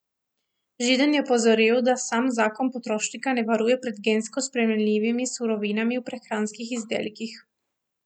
Židan je opozoril, da sam zakon potrošnika ne varuje pred gensko spremenjenimi surovinami v prehranskih izdelkih.